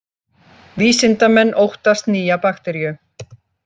Vísindamenn óttast nýja bakteríu